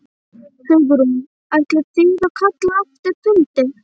Hugrún: Ætlið þið að kalla eftir fundi?